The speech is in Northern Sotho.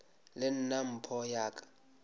le nna mpho ya ka